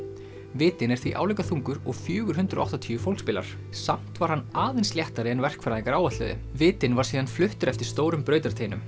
vitinn er því álíka þungur og fjögur hundruð og áttatíu fólksbílar samt var hann aðeins léttari en verkfræðingar áætluðu vitinn var síðan fluttur eftir stórum